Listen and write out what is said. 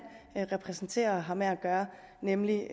repræsenterer og har med at gøre nemlig